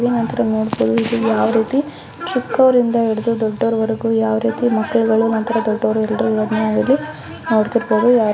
ನಂತರ ನೋಡಬಹುದು ಇದು ಯವರೀತಿ ಚಿಕ್ಕವರಿಂದ ಹಿಡಿದು ದೊಡ್ಡವರುವರಗು ಮಕ್ಕಳು ನಂತರ ದೊಡ್ಡವರು ಎಲ್ಲರು ಇಲ್ಲಿ ನೋಡತಿರಬಹುದು.